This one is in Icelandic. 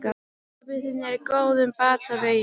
Pabbi þinn er á góðum batavegi.